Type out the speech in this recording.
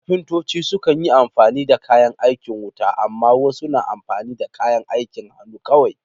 Kafintoci sukan yi amfani da kayan aikin wuta, amma wasu na amfani da kayan aikin hannu kawai.